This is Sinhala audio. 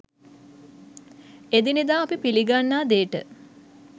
එදිනෙදා අපි පිළිගන්නා දේට